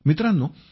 मित्रांनो